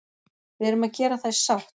Við erum að gera það í sátt